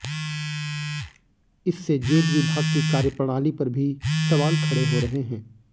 इससे जेल विभाग की कार्यप्रणाली पर भी सवाल खड़े हो रहे हैं